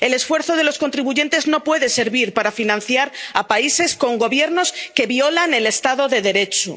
El esfuerzo de los contribuyentes no puede servir para financiar a países con Gobiernos que violan el Estado de Derecho.